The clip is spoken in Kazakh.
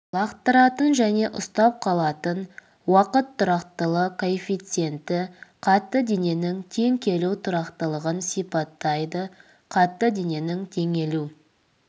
лақтыратын және ұстап қалатын уақыт тұрақтылық коэффициенті қатты дененің тең келу тұрақтылығын сипаттайды қатты дененің теңелу